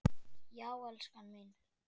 Já, elskan mín!